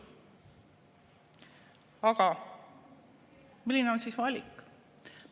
Aga milline on siis valik?